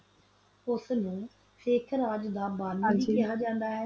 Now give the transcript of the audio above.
ਉਸ ਨੂੰ ਸਿਖ ਰਾਜ ਦਾ ਬਾਨੀ ਵੇ ਖਾ ਜਾਂਦਾ ਵਾ